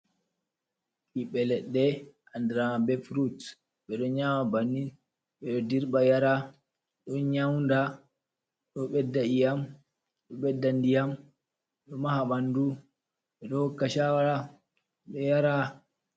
Bibbe leɗɗe anɗira be furut. Be ɗon nyama bannin. Beɗo ɗirba yara. Ɗon nyaunɗa. Ɗo beɗɗa iyam. Ɗo beɗɗa nɗiyam. Ɗo maha banɗu. be ɗo hokka shawara. Be ɗo yara.